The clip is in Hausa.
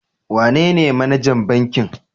Wanene manajan bankin?